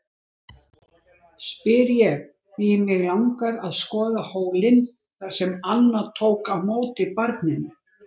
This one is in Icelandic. Sannleikurinn er sá að þeir áttu bara ekkert í mig þessir menn.